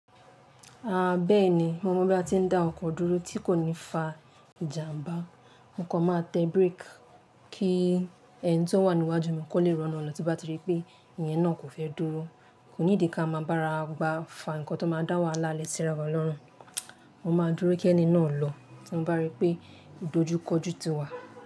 Bẹ́ẹ̀ni mo mọ̀ bí a ti ń dá ọkọ̀ dúró tí kò ní fa ìjàmbá. Mo kàn máà tẹ break kí ẹni tí ó wà ní iwájú mi kó lè rán lọ̀ tí bá ti rí pé ìyẹn náà kò fẹ́ dúró. Kò need ká máa bára gbá fà nǹkan tó máa dá wahala le sira wa lọrùn Mo máa dúró kí ẹni náà lọ tí mo bá rí pé ìdojúkọjú ti wà.